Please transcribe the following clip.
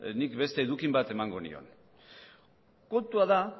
nik beste eduki bat emango nion kontua da